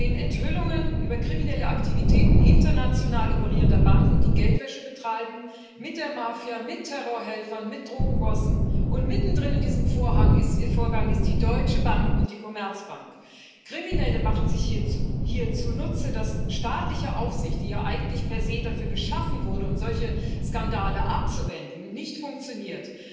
Wir sehen Enthüllungen über kriminelle Aktivitäten international operierender Banken, die Geldwäsche betreiben mit der Mafia, mit Terrorhelfern, mit Drogenbossen und mittendrin in diesem Vorgang sind die Deutsche Bank und die Commerzbank. Kriminelle machen sich hier zunutze, dass staatliche Aufsicht die ja eigentlich per se dafür geschaffen wurde, um solche Skandale abzuwenden nicht funktioniert.